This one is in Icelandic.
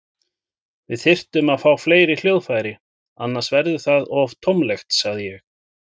Við þyrftum að fá fleiri hljóðfæri, annars verður það of tómlegt, sagði ég.